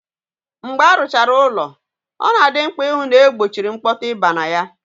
Mgbe aruchara ụlọ, ọ na-adị mkpà ịhụ na-egbochiri mkpọtụ ị baa na ya.